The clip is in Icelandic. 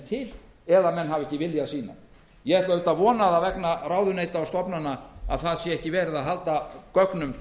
til eða að menn vildu ekki sýna þau ég ætla auðvitað að vona það vegna ráðuneyta og stofnana að ekki sé verið að halda gögnum